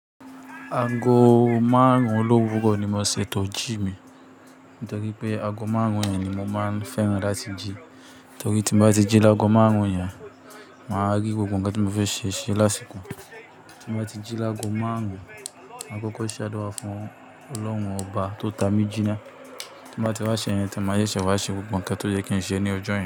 Àgó máàrúń lọ́wúrọ́ ní mó ṣètò íjímì. Nítorípé àgó máàrúń yẹn ní móo máa ń fẹ́ràn látí jí. Nítorí tí mo bá ti jí àgó máàrúń yẹn, màá rí gbógbó ohún tí mo fẹ́ ṣe ṣe lásìkò. Tí bá ti jí ágógo máàrúń, máa kọ́kọ́ ṣáá dúra fún olórúń òbà tó ta mí jí náà. Tí mo bá ti wá ṣẹ̀ yẹn, tí mo yé ṣẹ̀ wá ṣe gbógbó ǹkan tó jẹ́ kí n ṣe ní ojó yẹn.